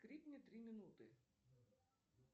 крикни три минуты